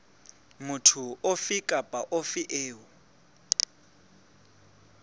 motho ofe kapa ofe eo